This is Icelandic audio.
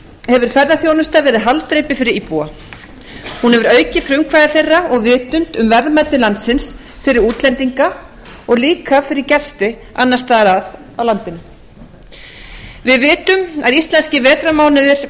hefur ferðaþjónusta verið haldreipi fyrir íbúa hún hefur aukið frumkvæði þeirra og vitund um verðmæti landsins fyrir útlendinga og líka fyrir gesti annars staðar að á landinu við vitum að íslenskrar vetrarmánuðir